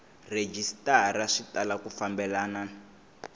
rhejisitara swi tala ku fambelena